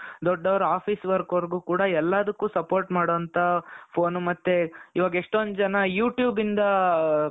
ದೊಡ್ಡವರು office work ಅವರಿಗೂ ಕೂಡಾ ಎಲ್ಲಾದಕ್ಕೂ support ಮಾಡುವಂತ phone ಮತ್ತೆ ಇವಾಗ್ ಎಷ್ಟೊಂದು ಜನ you tube ಇಂದಾ .